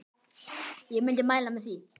Ég myndi mæla með því.